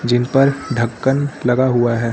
जिन पर ढक्कन लगा हुआ है।